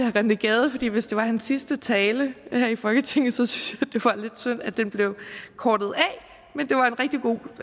rené gade fordi hvis det var hans sidste tale her i folketinget synes det var lidt synd at den bliver kortet